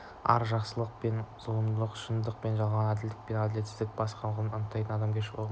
ар жақсылық пен зұлымдықты шындық пен жалғандықты әділдік пен әділетсіздікті және басқаларды анықтайтын адамгершілік ұғымы